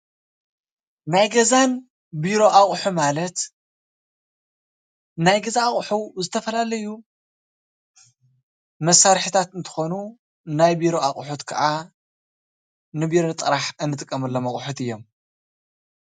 ናይን ገዛን ቢሮ ኣቑሑ ማለት ናይ ገዛ ኣቁሑ ን ዝተፈላለዩ መሳርሕታት አንትኮኑ ናይ ቢሮ ኣቑሑት ከኣ ን ቢሮ ጥራሕ ንጥቀሞሎም ኣቁሑት ጥራሕ አዮም ።